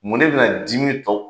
Munnen bɛna dimi tɔ